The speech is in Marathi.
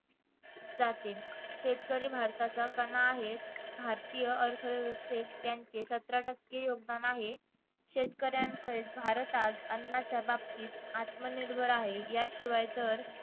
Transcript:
जाते शेतकरी भारताचा कणा आहे भारतीय अर्थव्यवस्थेत त्यांचे सतरा टक्के योगदान आहे शेतकऱ्यांमुळेच भारत आज अन्नाच्या बाबतीत आत्मनिर्भर आहे याशिवाय तर